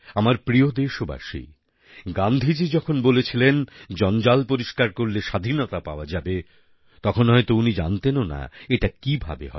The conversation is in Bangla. আমার প্রিয় দেশবাসী গান্ধীজি যখন বলেছিলেন জঞ্জাল পরিষ্কার করলে স্বাধীনতা পাওয়া যাবে তখন হয়ত উনি জানতেনও না এটা কিভাবে হবে